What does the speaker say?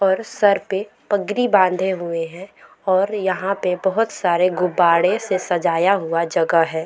और सर पे पगड़ी बांधे हुए हैं और यहाँ पे बहुत सारे गुब्बारे से सजाया हुआ जगह हैं ।